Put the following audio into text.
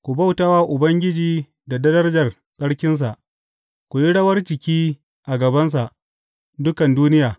Ku bauta wa Ubangiji da darajar tsarkinsa; ku yi rawar jiki a gabansa, dukan duniya.